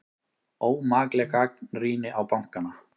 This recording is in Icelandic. Ómakleg gagnrýni á bankana